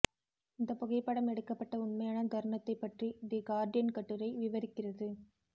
இந்த புகைப்படம் எடுக்கப்பட்ட உண்மையான தருணத்தை பற்றி தி கார்டியன் கட்டுரை விவரிக்கிறது